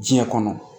Diɲɛ kɔnɔ